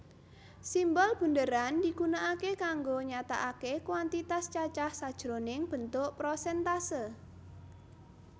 Simbol bunderan digunakake kanggo nyatakake kuantitas cacah sajroning bentuk prosèntase